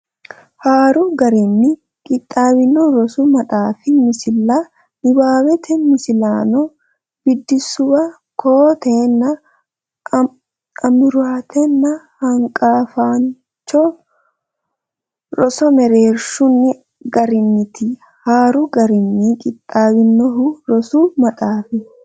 Haaru garinni qixxaawinohu rosu maxaafi misilla niwaawete misilaano biddissuwa koo teenna amuraatenna hanqafaancho roso mereersino garinniiti Haaru garinni qixxaawinohu rosu maxaafi.